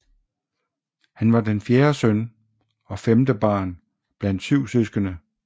Han var den fjerde søn og femte barn blandt syv søskende